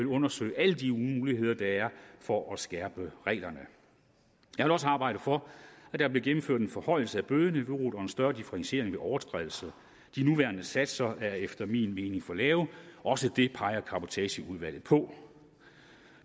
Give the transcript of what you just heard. undersøge alle de muligheder der er for at skærpe reglerne jeg vil også arbejde for at der bliver gennemført en forhøjelse af bødeniveauet og en større differentiering ved overtrædelse de nuværende satser er efter min mening for lave også det peger cabotageudvalget på